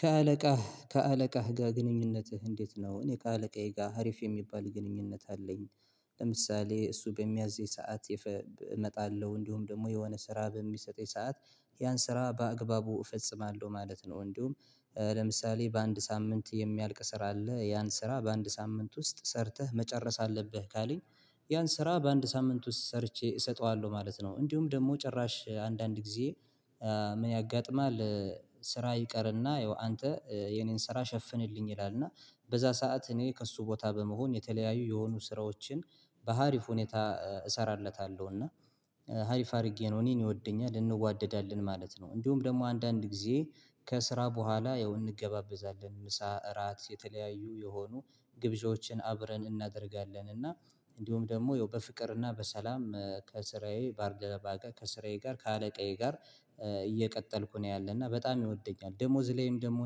ከአለቃህ ከአለቃህ ጋር ግንኙነትህ እንዴት ነው? እኔ ከአለቃዬ ጋር አሪፍ የሚባል ግንኙነት አለኝ። ለምሳሌ እሱ በሚያዘኝ ሰዓት እመጣለሁ እንዲሁም ደግሞ የሆነ ስራ በሚሰጠኝ ሰዓት ያን ስራ በአግባቡ እፈጽማለሁ ማለት ነው። እንዲሁም ለምሳሌ በአንድ ሳምንት የሚያልቅ ስራ አለ ያን ስራ በአንድ ሳምንት ውስጥ ሰርተህ መጨረስ አለብህ ካለኝ። ያን ስራ በአንድ ሳምንት ውስጥ ሰርቼ እሰጠዋለሁ ማለት ነው። እንዲሁም ደግሞ ጭራሽ አንዳንድ ጊዜ ምን ያጋጥማል? ስራ ይቀርና ያው አንተ የኔን ስራ ሸፍንልኝ ይላል እና በዛ ሰዓት እኔ ከእሱ ቦታ በመሆን የተለያዩ የሆኑ ስራዎችን በአሪፍ ሁኔታ እሰራለታለሁ እና አሪፍ አድርጌ ነው እኔን ይወደኛል እንዋደዳለን ማለት ነው። እንዲሁም ደግሞ አንዳንድ ጊዜ ከስራ በኋላ ያው እንገባበዛለን ምሳ እራት የተለያዩ የሆኑ ግብዣዎችን አብረን እናደርጋለን። እና እንዲሁም ደግሞ ያው በፍቅር እና በሰላም ከስራዬ ባርደረባ ከስራዬ ጋር ከአለቃዬ ጋር እየቀጠልኩ ነው ያለና በጣም ይወደኛል። ደሞዝ ላይም ደግሞ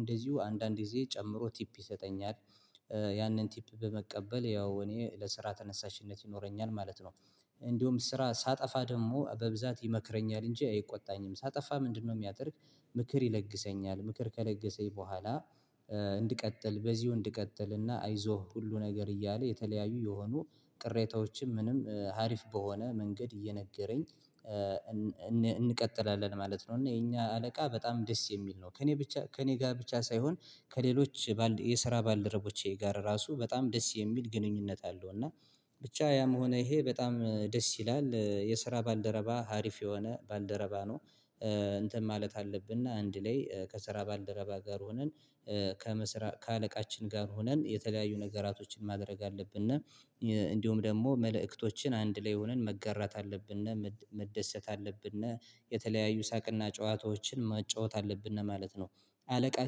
እንደዚሁ አንዳንድ ጊዜ ጨምሮ ቲፕ ይሰጠኛል ያንን ቲፕ በመቀበል ያው እኔ ለስራ ተነሳሽነት ይኖረኛል ማለት ነው። እንዲሁም ስራ ሳጠፋ ደግሞ በብዛት ይመክረኛል እንጂ አይቆጣኝም ሳጠፋ ምንድነው የሚያደርግ ምክር ይለግሰኛል ምክር ከለገሰኝ በኋላ። እንድቀጥል በዚሁ እንድቀጥል እና አይዞህ ሁሉ ነገር እያለ የተለያዩ የሆኑ ቅሬታዎችም ምንም ሀሪፍ በሆነ መንገድ እየነገረኝ እንቀጥላለን ማለት ነው። እና የኛ አለቃ በጣም ደስ የሚል ነው ከእኔ ብቻ ከእኔ ጋር ብቻ ሳይሆን ከሌሎች የስራ ባልደረቦቼ ጋር ራሱ በጣም ደስ የሚል ግንኙነት አለው። እና ብቻ ያም ሆነ ይሄ በጣም ደስ ይላል የስራ ባልደረባ ሀሪፍ የሆነ ባልደረባ ነው። እንትን ማለት አለብን አንድ ላይ ከሰራባል ደረባ ጋር ሆነን ከምስራ ከአለቃችን ጋር ሆነን የተለያዩ ነገራቶችን ማድረግ አለብነ እንዲሁም ደግሞ መልእክቶችን አንድ ላይ ሆነን መጋራት አለብነ መደሰት አለብን የተለያዩ ሳቅና ጨዋታዎችን ማጫወት አለብን ማለት ነው። አለቃ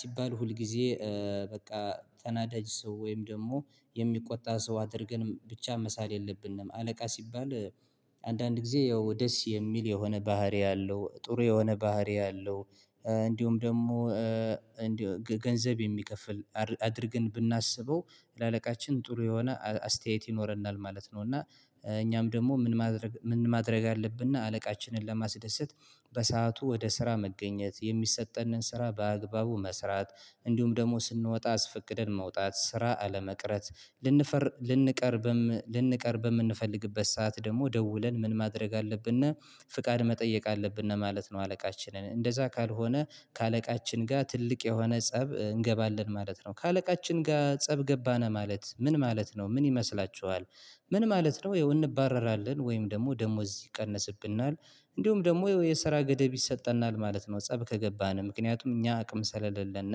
ሲባል ሁልጊዜ በቃ ተናዳጅ ሰው ወይም ደግሞ የሚቆጣ ሰው አድርገን ብቻ መሳል የለብንም አለቃ ሲባል አንዳንድ ጊዜ ያው ደስ የሚል የሆነ ባህሪ አለው ጥሩ የሆነ ባህሪ አለው። እንዲሁም ደግሞ እንዲሁም ገንዘብ የሚከፍል አድርገን ብናስበው ለአለቃችን ጥሩ የሆነ አስተያየት ይኖረናል ማለት ነው። እና እኛም ደግሞ ምን ማድረግ ምን ማድረግ አለብነ አለቃችንን ለማስደሰት በሰአቱ ወደ ስራ መገኘት የሚሰጠንን ስራ በአግባቡ መስራት እንዲሁም ደግሞ ስንወጣ አስፈቅድን መውጣት ስራ አለመቅረት ልንፈር ልንቀርልንቀርብ በምንፈልግበት ሰዓት ደግሞ ደውለን ምን ማድረግ አለብን ፍቃድ መጠየቅ አለብን ማለት ነው። አለቃችንን እንደዛ ካልሆነ ከአለቃችን ጋር ትልቅ የሆነ ፀብ እንገባለን ማለት ነው። ከአለቃችን ጋር ፀብ ገባን ማለት ምን ማለት ነው ምን ይመስላቹኋል? ምን ማለት ነው እንባረራለን ወይም ደግሞ ደሞዝ ይቀነስብናል እንዲሁም ደግሞ የሰራ ገደብ ይሰጠናል ማለት ነው። ፀብ ከገባን ምክንያቱም እኛ አቅም ስለሌለን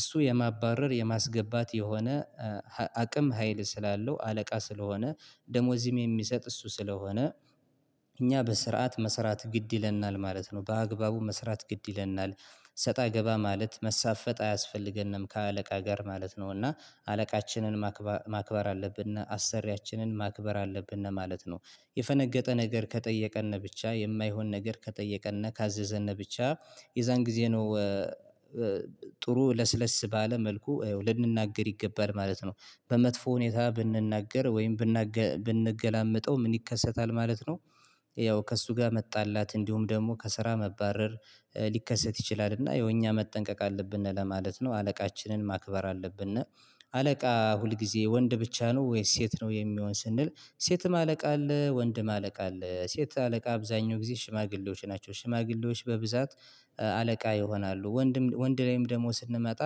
እሱ የማባረር የማስገባት የሆነ አቅም ሀይል ስላለው አለቃ ስለሆነ ደሞዝም የሚሰጥ እሱ ስለሆነ እኛ በስርዓት መስራት ግድ ይለናል ማለት ነው። በአግባቡ መስራት ግድ ይለናል ሰጣ ገባ ማለት መሳፈጥ አያስፈልገንም ከአለቃ ጋር ማለት ነው። እና አለቃችንን ማክበር አለብን አሰሪያችንን ማክበር አለብን ማለት ነው። የፈነገጠ ነገር ከጠየቀን ብቻ የማይሆን ነገር ከጠየቀን ካዘዘን ብቻ የዛን ጊዜ ነው ጥሩ ለስለስ ባለ መልኩ ልንናገር ይገባል ማለት ነው በመጥፎ ሁኔታ ብንናገር ወይም ብንገላመጠው ምን ይከሰታል ማለት ነው? ያው ከእሱ ጋር መጣላት እንዲሁም ደግሞ ከስራ መባረር ሊከሰት ይችላል እና የእኛ መጠንቀቅ አለብን ለማለት ነው አለቃችንን ማክበር አለብን። አለቃ ሁል ጊዜ ወንድ ብቻ ነው ወይስ ሴት ነው? የሚሆን ስንል ሴትም አለቃ አለ ወንድም አለቃ አለ ሴት አለቃ አብዛኛው ጊዜ ሽማግሌዎች ናቸው ሽማግሌዎች በብዛት አለቃ ይሆናሉ ወንድም ወንድ ላይም ደግሞ ስንመጣ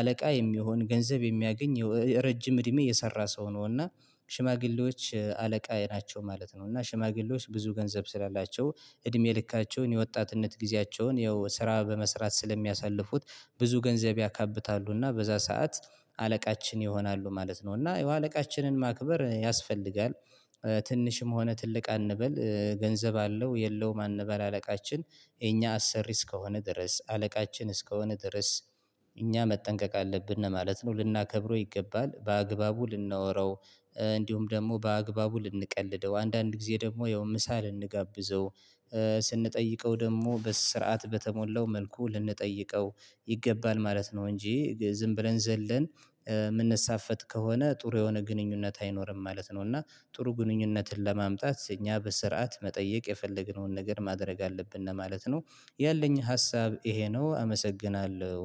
አለቃ የሚሆን ገንዘብ የሚያገኝ ረጅም እድሜ የሰራ ሰው ነው እና ሽማግሌዎች አለቃዬ ናቸው ማለት ነው። እና ሽማግሌዎች ብዙ ገንዘብ ስላላቸው እድሜ ልካቸውን የወጣትነት ጊዜያቸውን ያው ስራ በመስራት ስለሚያሳልፉት ብዙ ገንዘብ ያካብታሉ እና በዛ ሰዓት አለቃችን ይሆናሉ ማለት ነው። እና አለቃችንን ማክበር ያስፈልጋል። ትንሽም ሆነ ትልቅ አንበል ገንዘብ አለው የለውም እንበል አለቃችን እኛ አሰሪ እስከሆነ ድረስ አለቃችን እስከሆነ ድረስ እኛ መጠንቀቅ አለብን ማለት ነው። ልናከብረው ይገባል በአግባቡ ልናወራው እንዲሁም ደግሞ በአግባቡ ልንቀልደው አንዳንድ ጊዜ ደግሞ ያው ምሳ ልንጋብዘው ስንጠይቀው ደግሞ በስርዓት በተሞላው መልኩ ልንጠይቀው ይገባል ማለት ነው። እንጂ ዝም ብለን ዘለን የምንሳፈጥ ከሆነ ጥሩ የሆነ ግንኙነት አይኖርም ማለት ነው። እና ጥሩ ግንኙነትን ለማምጣት እኛ በስርዓት መጠየቅ የፈለግነውን ነገር ማድረግ አለብን እና ማለት ነው። ያለኝ ሀሳብ ይሄ ነው። አመሰግናለሁ